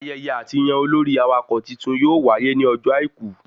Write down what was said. Ayẹyẹ àtiyàn olórí awakọ̀ titun yóò wáyé ní ọjọ́ àìkú